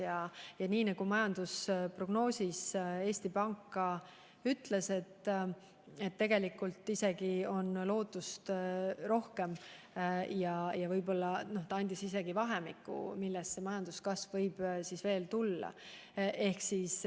Eesti Pank on oma majandusprognoosis öelnud, et lootust on tegelikult isegi rohkem – ta andis vahemiku, kui suur majanduskasv võib veel tulla.